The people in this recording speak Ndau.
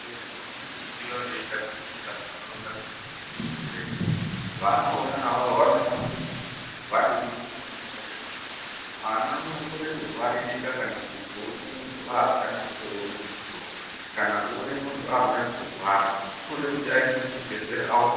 Vana vadodori avafaniri kusiiwa veitambudzika munharaunda mweshe dzakatikomberedza vana vona avavo vanofanira kuti vandoningirwa nguwa nenguwa mwana unokone kurwaririka kana kutoone munhu akutoome musoro ,kana kuone munhu akutange kurwara unode kuti aendeswe kuchibhehleya kohloyiwa.